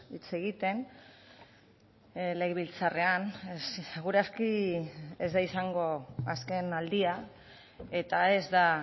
hitz egiten legebiltzarrean segur aski ez da izango azken aldia eta ez da